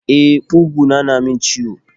E, kuguna na min ciwo.